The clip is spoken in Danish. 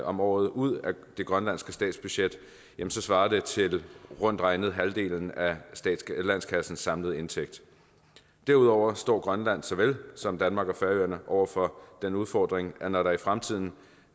om året ud af det grønlandske statsbudget svarer det til rundt regnet halvdelen af landskassens samlede indtægt derudover står grønland såvel som danmark og færøerne over for den udfordring at når der i fremtiden